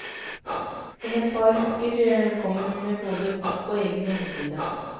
Om et par uker kommer hun med både bok og egen hjemmeside.